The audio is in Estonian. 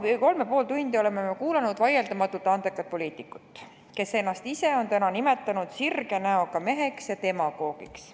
Me oleme kolm ja pool tundi kuulanud vaieldamatult andekat poliitikut, kes ennast ise on täna nimetanud sirge näoga meheks ja demagoogiks.